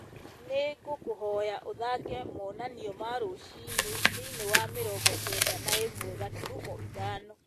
ni ngũkũhoya ũthaake monanio ma rũciinĩ thĩinĩ wa mĩrongo kenda na ĩmwe gaturumo ithano